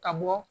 Ka bɔ